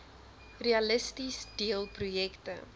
realisties deel projekte